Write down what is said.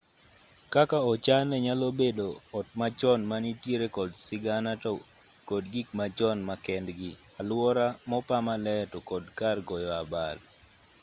kaka ochane nyalo bedo ot machon manitiere kod sigana to kod gik machon ma kendgi alwora mopa maler to kod kar goyo abal